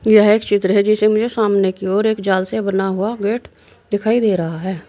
यह एक चित्र है जिसे मुझे सामने की ओर एक जाल से बना हुआ गेट दिखाई दे रहा है।